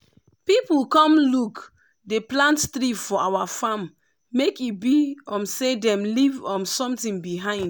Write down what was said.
people come look dey plant tree for our farm make e be um say dem leave um something behind.